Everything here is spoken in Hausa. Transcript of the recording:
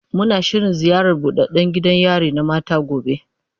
Muna shirin ziyartar buɗaɗɗan gidan yari na mata gobe.